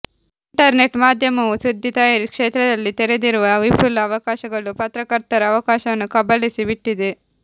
internet ಮಾಧ್ಯಮವು ಸುದ್ದಿ ತಯಾರಿ ಕ್ಷೇತ್ರದಲ್ಲಿ ತೆರೆದಿರುವ ವಿಫುಲ ಅವಕಾಶಗಳು ಪತ್ರಕರ್ತರ ಅವಕಾಶವನ್ನು ಕಬಳಿಸಿ ಬಿಟ್ಟಿದೆ